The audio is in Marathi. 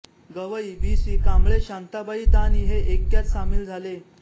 गवई बी सी कांबळेशांताबाई दाणी हे ऐक्यात सामील झाले